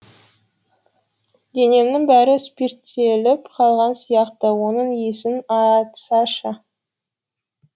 денемнің бәрі спирттеліп қалған сияқты оның иісін айтсайшы